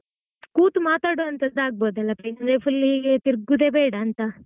ಕೂತು ಮಾತಾಡೋ ಅಂತದ್ದು ಆಗಬೋದಲ್ಲ place ಅಂದ್ರೆ full time ಹೀಗೆ ತಿರುಗುವುದೆ ಬೇಡಾ ಅಂತಾ.